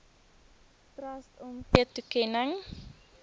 trust omgee toekenning